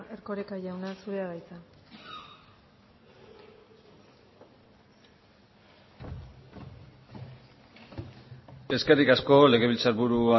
erkoreka jauna zurea da hitza eskerrik asko legebiltzarburu